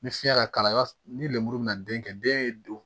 Ni fiɲɛ ka kalan ni lemuru bɛna den kɛ den ye don